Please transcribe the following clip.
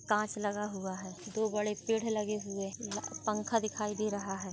कांच लगा हुआ हैं दो बड़े पेड़ लगे हुए पंखा दिखाई दे रहा हैं।